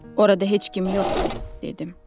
Orada heç kim yoxdur, dedim.